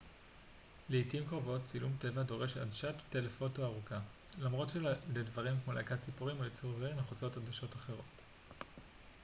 לעתים קרובות צילום טבע דורש עדשת טלפוטו ארוכה למרות שלדברים כמו להקת ציפורים או יצור זעיר נחוצות עדשות אחרות